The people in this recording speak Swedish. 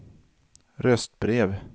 röstbrev